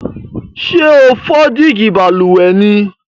Sé o fo dígí balùwè ni?